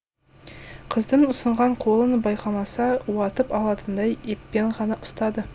қыздың ұсынған қолын байқамаса уатып алатындай еппен ғана ұстады